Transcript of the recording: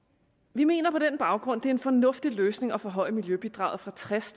vi mener på den baggrund det er en fornuftig løsning at forhøje miljøbidraget fra tres